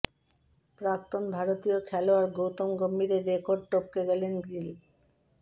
প্রাক্তন ভারতীয় খেলোয়াড় গৌতম গম্ভীরের রেকর্ড টপকে গেলেন গিল